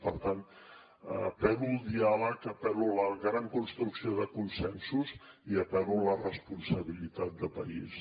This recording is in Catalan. per tant apel·lo al diàleg apel·lo a la gran construcció de consensos i apel·lo a la responsabilitat de país